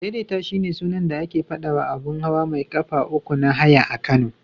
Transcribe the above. Adaidaita shine sunan da ake faɗawa abun hawa mai ƙafa uku na haya a Kano.